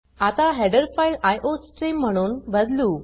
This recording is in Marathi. आता हेडर फाइल आयोस्ट्रीम म्हणून बदलू